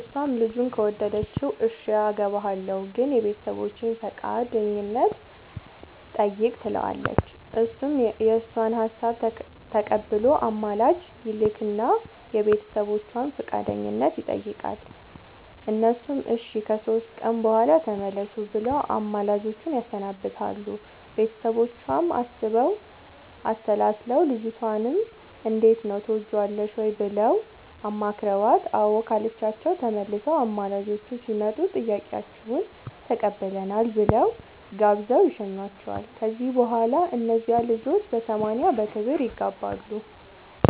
እሷም ልጁን ከወደደችው እሽ አገባሀለሁ ግን የቤተሰቦቼን ፈቃደኝነት ጠይቅ ትለዋለች እሱም የእሷን ሀሳብ ተቀብሎ አማላጅ ይልክ እና የቤተሰቦቿን ፈቃደኝነት ይጠይቃል እነሱም እሺ ከሶስት ቀን በኋላ ተመለሱ ብለው አማላጆቹን ያሰናብታሉ ቤተሰቦቿም አስበው አሠላስለው ልጅቷንም እንዴት ነው ትወጅዋለሽ ወይ ብለው አማክረዋት አዎ ካለቻቸው ተመልሰው አማላጆቹ ሲመጡ ጥያቄያችሁን ተቀብለናል ብለው ጋብዘው ይሸኙዋቸዋል ከዚያ በኋላ እነዚያ ልጆች በሰማንያ በክብር ይጋባሉ።